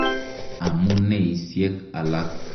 Amuneisyek alak.